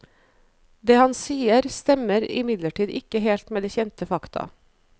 Det han sier stemmer imidlertid ikke helt med kjente fakta.